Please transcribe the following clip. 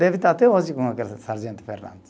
Deve estar até hoje com aquele Sargento Fernandes.